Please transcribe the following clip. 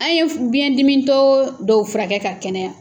An ye furu biyɛndimitɔ dɔw furakɛ ka kɛnɛya.